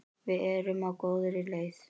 Við erum á góðri leið.